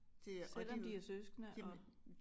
Selvom de er søskende og